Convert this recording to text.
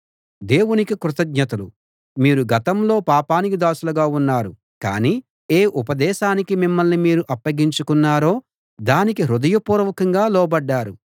దేవునికి కృతజ్ఞతలు మీరు గతంలో పాపానికి దాసులుగా ఉన్నారు కానీ ఏ ఉపదేశానికి మిమ్మల్ని మీరు అప్పగించుకున్నారో దానికి హృదయపూర్వకంగా లోబడ్డారు